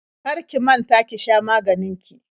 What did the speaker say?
Kar ki manta ki sha maganin ki.